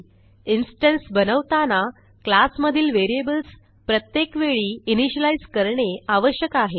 instance बनवताना class मधील variables प्रत्येक वेळी इनिशियलाईज करणे आवश्यक आहे